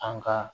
An ka